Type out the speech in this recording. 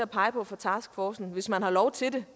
pege på fra taskforcen hvis man har lov til det